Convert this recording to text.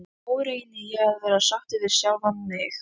Nú reyni ég að vera sáttur við sjálfan mig.